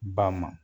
Ba ma